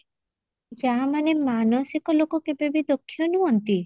ଆ ମାନେ ମାନସିକ ଲୋକମାନେ କେବେବି ଦକ୍ଷ ନୁହନ୍ତି?